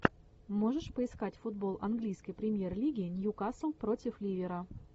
можешь поискать футбол английской премьер лиги ньюкасл против ливера